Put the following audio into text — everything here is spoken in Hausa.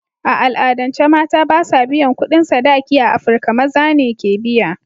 A al'adance, mata ba sa biyan kudin sadaki a Afirka; Maza ne ke biya.